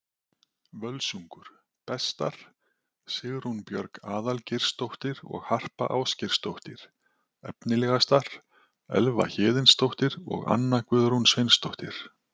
Völsungur: Bestar: Sigrún Björg Aðalgeirsdóttir og Harpa Ásgeirsdóttir Efnilegastar: Elva Héðinsdóttir og Anna Guðrún Sveinsdóttir